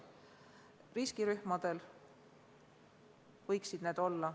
Riskirühmadel võiksid sellised maskid olla.